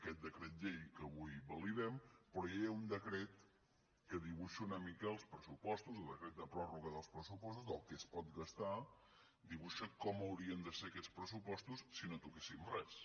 aquest decret llei que avui validem però ja hi ha un decret que dibuixa una mica els pressupostos el decret de pròrroga dels pressupostos del que es pot gastar dibuixa com haurien de ser aquests pressupostos si no toquéssim res